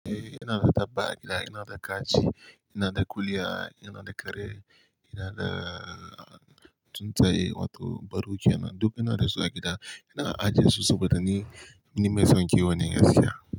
Eh, ina da dabba a gida, ina da kaji, yana da kuliya, ina da kare, ina da tsuntsaye wato baru kenan. Duk ina da su a gida. Ina ajiye su saboda ni, ni mai son kiwo ne gaskiya.